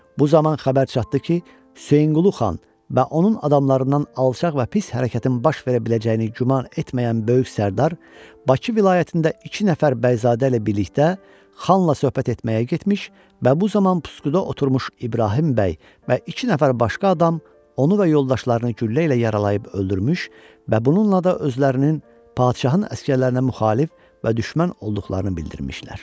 Bu zaman xəbər çatdı ki, Hüseynqulu xan və onun adamlarından alçaq və pis hərəkətin baş verə biləcəyini güman etməyən böyük sərdar Bakı vilayətində iki nəfər bəyzadə ilə birlikdə xanla söhbət etməyə getmiş və bu zaman pusquda oturmuş İbrahim bəy və iki nəfər başqa adam onu və yoldaşlarını güllə ilə yaralayıb öldürmüş və bununla da özlərinin padşahın əsgərlərinə müxalif və düşmən olduqlarını bildirmişlər.